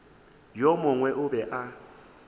yo mongwe o be a